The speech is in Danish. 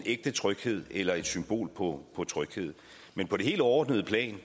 ægte tryghed eller et symbol på tryghed men på det helt overordnede plan